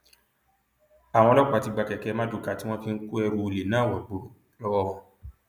àwọn ọlọpàá ti gba kẹkẹ marduká tí wọn fi ń kó ẹrù olè náà wọgbọrọ lọwọ wọn